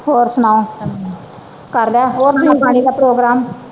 ਹੋਰ ਸੁਣਾਓ ਕਰ ਲਿਆ ਅੰਨ ਪਾਣੀ ਦਾ ਪ੍ਰੋਗਰਾਮ